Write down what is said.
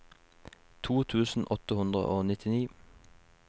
to tusen åtte hundre og nittini